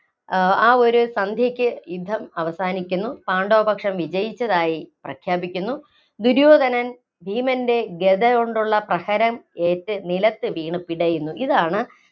ആ ഒരു സന്ധ്യയ്ക്ക് യുദ്ധം അവസാനിക്കുന്നു, പാണ്ഡവ പക്ഷം വിജയിച്ചതായി പ്രഖ്യാപിക്കുന്നു. ദുര്യോധനന്‍ ഭീമന്‍റെ ഗദ കൊണ്ടുള്ള പ്രഹരം ഏറ്റ് നിലത്തു വീണു പിടയുന്നു. ഇതാണ്